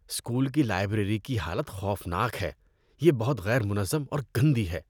School کی library کی حالت خوفناک ہے، یہ بہت غیر منظم اور گندی ہے۔